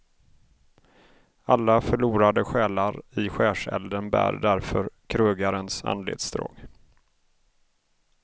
Alla förlorade själar i skärselden bär därför krögarens anletsdrag.